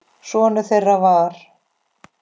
Sonur þeirra var